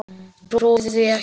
Ég trúi því ekki!